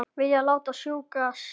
Vilja láta strjúka sér.